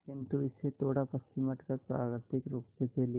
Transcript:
किंतु इससे थोड़ा पश्चिम हटकर प्राकृतिक रूप से फैली